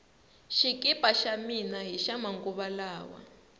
xikipa xa mina hixa manguva lawa